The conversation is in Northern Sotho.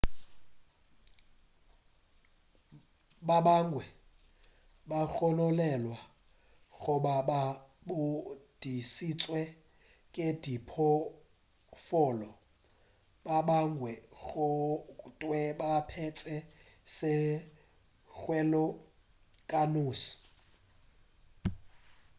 ba bangwe ba gononelwa go ba ba godišitšwe ke diphoofolo ba bangwe go thwe ba phetše sethokgweng ka noši